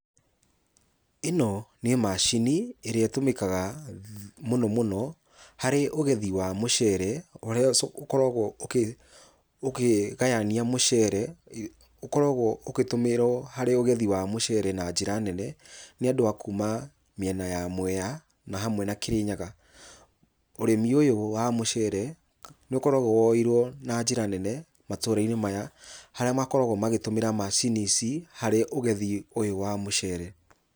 Ĩno nĩ macini, ĩrĩa ĩtũmĩkaga mũno mũno, harĩ ũgethi wa mũcere, ũrĩa ũkoragwo ũkĩ ũkĩgayania mũcere, ũkoragwo ũgĩtũmĩrwo harĩ ũgethi wa mũcere na njĩra nene, nĩ andũ a kuma mĩena ya Mwea, na hamwe na Kĩrĩnyaga. Ũrĩmi ũyũ wa mũcere, nĩũkoragwo woyeirwo na njĩra nene matũra-inĩ maya, harĩa makoragwo magĩtũmĩra macini ici harĩ ũgethi ũyũ wa mũcere.